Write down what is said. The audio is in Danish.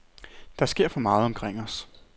Der sker for meget omkring os.